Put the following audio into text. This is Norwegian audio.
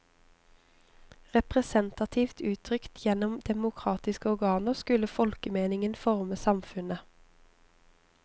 Representativt uttrykt gjennom demokratiske organer skulle folkemeningen forme samfunnet.